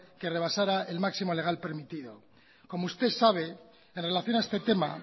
que rebasara el máximo legal permitido como usted sabe en relación a este tema